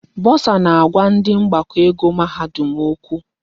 Bọsa na-agwa ndị mgbakọ ego mahadum okwu.